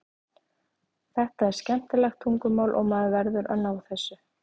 Þetta er skemmtilegt tungumál og maður verður að ná þessu.